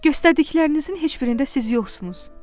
Göstərdiklərinizin heç birində siz yoxsunuz.